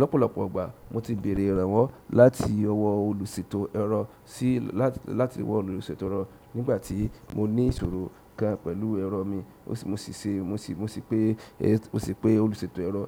Lọ́pọ̀lọ́pọ̀ ìgbà mo ti béèrè ìrànwọ́ láti ọwọ́ olùṣètò ẹ̀rọ nígbàtí mo ní ìṣòro gan pẹ̀lú ẹ̀rọ mi, mó sì pé olùṣètò ẹ̀rọ